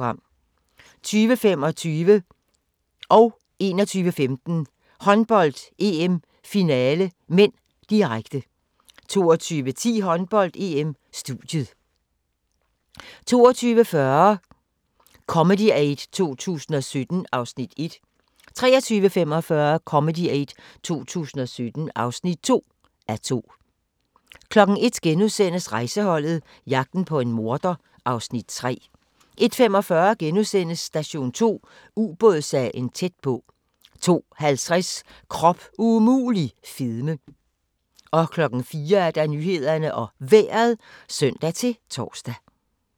20:25: Håndbold: EM - finale (m), direkte 21:15: Håndbold: EM - finale (m), direkte 22:10: Håndbold: EM - studiet 22:40: Comedy Aid 2017 (1:2) 23:45: Comedy Aid 2017 (2:2) 01:00: Rejseholdet - jagten på en morder (Afs. 3)* 01:45: Station 2: Ubådssagen tæt på * 02:50: Krop umulig - fedme 04:00: Nyhederne og Vejret (søn-tor)